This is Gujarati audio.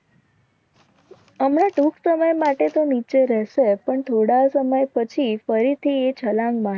અમણા ટૂંક સમય માટે તો નીચે રહેશે. પણ થોડા સમય પછી ફરીથી એ છલાંગમાં